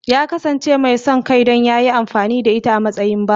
Ya kasance mai son kai don ya yi amfani da ita a matsayin bawa.